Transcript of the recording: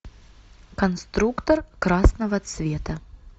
конструктор красного цвета